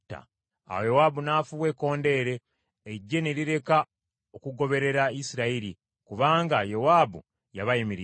Awo Yowaabu n’afuuwa ekkondeere, eggye ne lireka okugoberera Isirayiri kubanga Yowaabu yabayimiriza.